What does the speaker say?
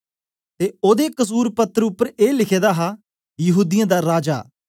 ते ओदे कसुर पत्र उपर ए लिखे दा हा यहूदीयें दा राजा